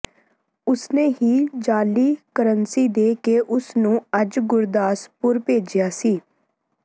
ਉਸਨੇ ਹੀ ਜਾਅਲੀ ਕਰੰਸੀ ਦੇ ਕੇ ਉਸ ਨੂੰ ਅੱਜ ਗੁਰਦਾਸਪੁਰ ਭੇਜਿਆ ਸੀ